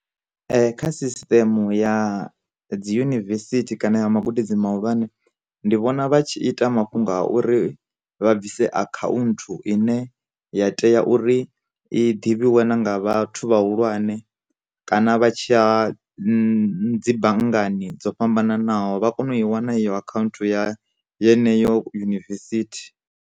Kha system ya dzi yunivesithi kana ya magudedzini mahulwane, ndi vhona vha tshi ita mafhungo a uri vha bvise akhaunthu ine ya tea uri i ḓivhiwe na nga vhathu vhahulwane, kana vha tshiya dzi dzi banngani dzo fhambananaho vha kone u i wana iyo akhaunthu ya yeneyo yunivesithi.